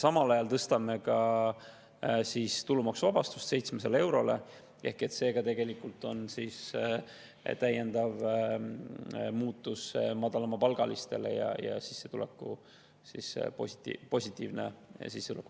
Samal ajal tõstame tulumaksuvabastuse 700 eurole, ka see on tegelikult täiendav positiivne muutus madalamapalgaliste sissetuleku vaates.